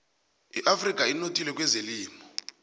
iafrika inothile kwezelimo